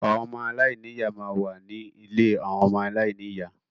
Àwọn ọmọ aláìní ìyá máa ń wà ní ilé àwọn ọmọ aláìní ìyá.